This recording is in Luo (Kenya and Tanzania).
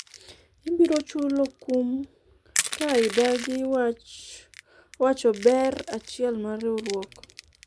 ibiro chulo kum ka idadi wacho ber achiel mar riwruok